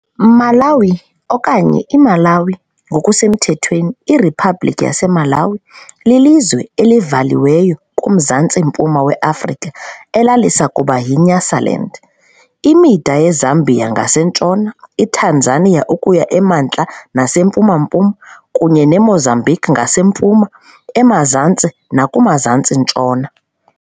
Malawi okanye IMalaŵi, ngokusemthethweni iRiphabhlikhi yaseMalawi, lilizwe elivaliweyo kuMzantsi-mpuma weAfrika elalisakuba yiNyasaland. Imida yeZambia ngasentshona, iTanzania ukuya emantla nasempuma-mpuma, kunye neMozambique ngasempuma, emazantsi nakumazantsi-ntshona.